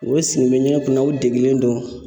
U bɛ sigi u bɛ ɲɛgɛn kun na u degelen don.